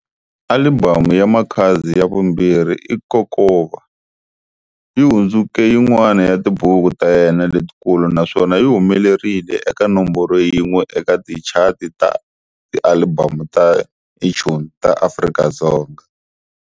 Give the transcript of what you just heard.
Alibamu ya Makhadzi ya vumbirhi i Kokova, yi hundzuke yin'wana ya tibuku ta yena letikulu naswona yi humelerile eka nomboro yin'we eka tichati ta tialibamu ta iTunes ta Afrika-Dzonga.